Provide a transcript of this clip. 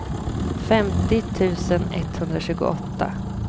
femtio tusen etthundratjugoåtta